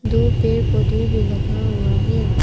दो पेड़ पौधे भी लगा हुआ है।